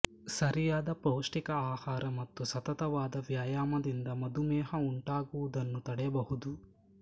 ಸರಿಯಾದ ಪೌಷ್ಟಿಕ ಆಹಾರ ಮತ್ತು ಸತತವಾದ ವ್ಯಾಯಾಮದಿಂದ ಮಧುಮೇಹ ಉಂಟಾಗುವುದನ್ನು ತಡೆಯಬಹುದು